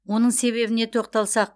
оның себебіне тоқталсақ